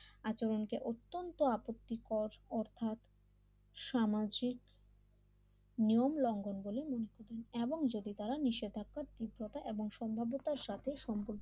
আচরণকে অত্যন্ত আপত্তিকর অর্থাৎ সামাজিক নিয়ম লঙ্ঘন বলে মনে করেন এবং যদি তারা নিষেধাজ্ঞা তীব্রতা এবং সমালোতার সাথে সম্পর্ক